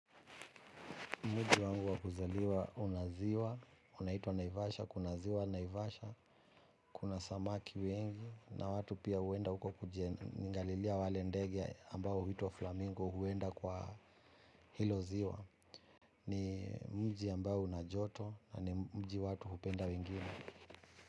Mji wangu wa kuzaliwa una ziwa unaitwa naivasha kuna ziwa naivasha kuna samaki wengi na watu pia huenda huko kuji angalilia wale ndege ambao huitwa flamingo huenda kwa hilo ziwa. Ni mji ambao una joto na ni mji watu hupenda wengine.